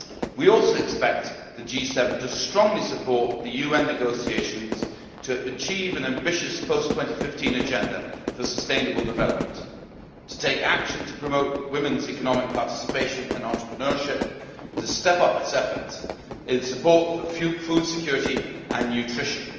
We also expect the G7 to strongly support the UN negotiations to achieve an ambitious Post 2015 Agenda for Sustainable Development, to take action to promote women's economic participation and entrepreneurship, and to step up its efforts in support of food security and nutrition.